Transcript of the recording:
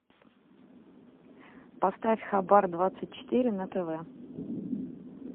поставь хабар двадцать четыре на тв